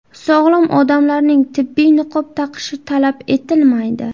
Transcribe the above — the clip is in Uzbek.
Sog‘lom odamlarning tibbiy niqob taqishi talab etilmaydi.